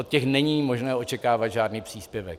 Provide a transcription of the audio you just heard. Od těch není možné očekávat žádný příspěvek.